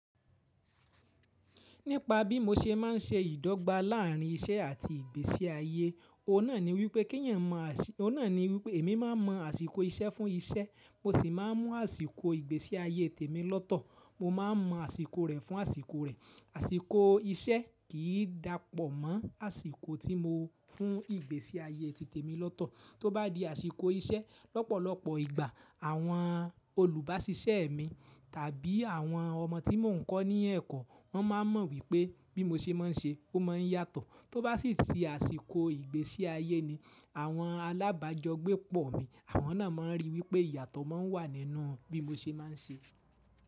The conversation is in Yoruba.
Nípa bí mo ṣe má n se ìdọ́gba láàrín isẹ́ àti ìgbésí ayé, ó ná ni wípé èmi má mọ àsìkò isẹ́ fún isẹ́, mo sì má a mú àsìkò ìgbésí ayé tèmi lọ́tọ̀, mo má a mọ àsìkò rẹ̀ fún àsìkò rẹ̀. Àsìkò isẹ́ kì í dàpọ̀ mọ́ àsìkò tí mo fún ìgbésí ayé ti tèmi lọ́tọ̀. Tóbá di àsìkò isẹ́, lọ́pọ̀lọpọ̀ ìgbà àwọn olùbásisẹ́ mi tàbí àwọn ọmọ tí mò ń kọ́ ní ẹ̀kọ́, wọ́n má a mọ wípé bí mo ṣe má n ṣe ó mọ yàtọ̀. Tóbá sì di àsìkò ìgbésí ayé ni àwọn alábàjogbepọ̀ mí, àwọn náà má n rí wípé ìyàtọ̀ má ń wà nínú bí mo ṣe má n ṣe.